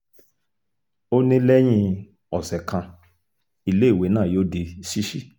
ó ní lẹ́yìn ọ̀sẹ̀ kan iléèwé náà yóò di ṣíṣí